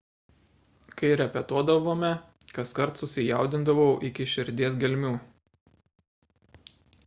kai repetuodavome kaskart susijaudindavau iki širdies gelmių